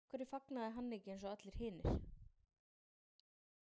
Af hverju fagnaði hann ekki eins og allir hinir?